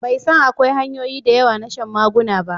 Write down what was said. bai san akwai hanyoyi da yawa na shan maguna ba